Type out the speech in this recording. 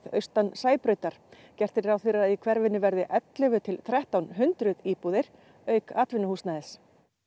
austan Sæbrautar gert ráð fyrir að í hverfinu verði ellefu til þrettán hundruð íbúðir auk atvinnuhúsnæðis